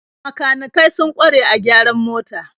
Makanikai sun kware a gyaran mota.